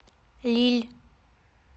лилль